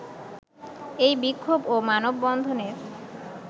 এই বিক্ষোভ ও মানববন্ধনের